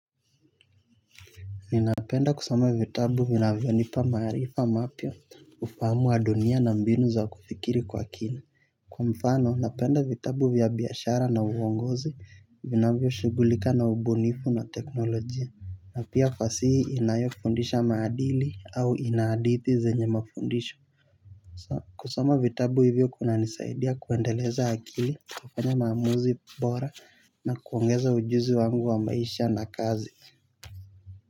Ninapenda kusoma vitabu vinavyo nipa marifa mapya ufahamu wa dunia na mbinu za kufikiri kwa kina. Kwa mfano napenda vitabu vya biashara na uongozi vinavyo shughulika na ubunifu na teknolojia. Na pia fasihi inayofundisha maadili au ina hadithi zenye mafundisho. Kusoma vitabu hivyo kunanisaidia kuendeleza akili kufanya maamuzi bora na kuongeza ujuzi wangu wa maisha na kazi.